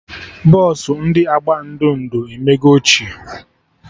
Bọsụ ndị agba ndo ndo emego ochie